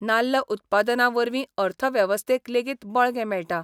नाल्ल उत्पादना वरवीं अर्थवेवस्थेक लेगीत बळगें मेळटा.